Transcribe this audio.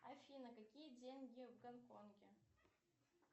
афина какие деньги в гонконге